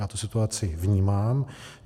Já tu situaci vnímám.